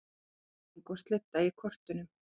Rigning og slydda í kortunum